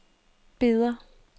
Beder